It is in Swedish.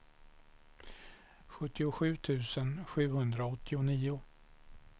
sjuttiosju tusen sjuhundraåttionio